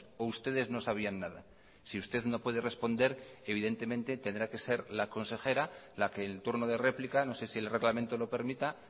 o ustedes no sabían nada si usted no puede responder evidentemente tendrá que ser la consejera la que en turno de réplica no sé si el reglamento lo permita